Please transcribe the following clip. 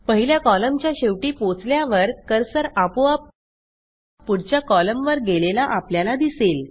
पहिल्या कॉलमच्या शेवटी पोचल्यावर कर्सर आपोआप पुढच्या कॉलमवर गेलेला आपल्याला दिसेल